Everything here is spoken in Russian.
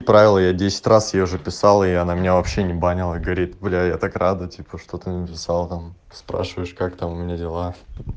правил её десять раз ей уже писал и она меня вообще не банила горит бля я так рада типа что ты написал там спрашиваешь как там у меня дела